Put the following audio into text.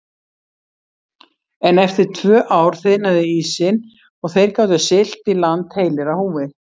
En eftir tvö ár þiðnaði ísinn og þeir gátu siglt í land heilir á húfi.